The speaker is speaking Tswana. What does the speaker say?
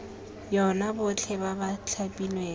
yona botlhe ba ba thapilweng